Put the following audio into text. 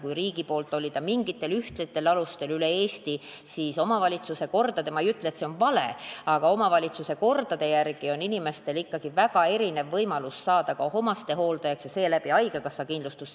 Kui riigi poolt oli ta mingitel ühtsetel alustel üle Eesti, siis omavalitsuste kordade järgi on – ma ei ütle, et see on vale – inimestel ikkagi väga erinev võimalus saada ka omastehooldajaks ja seeläbi haigekassa kindlustust.